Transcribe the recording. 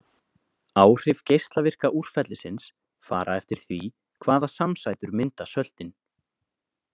Áhrif geislavirka úrfellisins fara eftir því hvaða samsætur mynda söltin.